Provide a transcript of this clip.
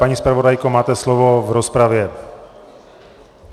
Paní zpravodajko, máte slovo v rozpravě.